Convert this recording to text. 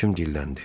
Həkim dilləndi.